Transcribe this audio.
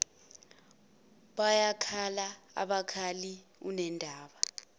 bayakhala abakhali unendaba